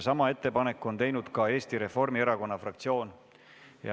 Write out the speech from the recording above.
Sama ettepaneku on teinud ka Eesti Reformierakonna fraktsioon.